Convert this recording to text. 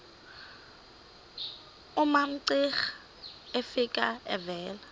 umamcira efika evela